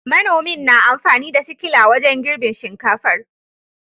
Manomin na amfani da sikila wajen girbin shinkafar